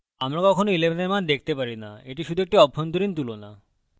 আমরা কখনো 11 we মান দেখতে পারি না এটি শুধু একটি অভ্যন্তরীণ তুলনা